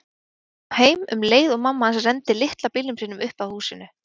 Hann kom heim um leið og mamma hans renndi litla bílnum sínum upp að húsinu.